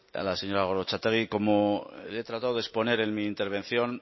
a la señora gorrotxategi como le he tratado de exponer en mi intervención